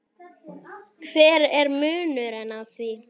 hver er munurinn á því?